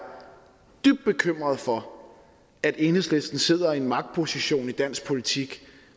dybt bekymret for at enhedslisten sidder i en magtposition i dansk politik